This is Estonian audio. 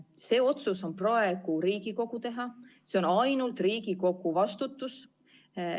See otsus on praegu Riigikogu teha, see on ainult Riigikogu vastutus.